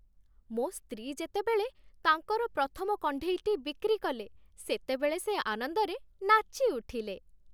ମୋ ସ୍ତ୍ରୀ ଯେତେବେଳେ ତାଙ୍କର ପ୍ରଥମ କଣ୍ଢେଇଟି ବିକ୍ରି କଲେ, ସେତେବେଳେ ସେ ଆନନ୍ଦରେ ନାଚି ଉଠିଲେ।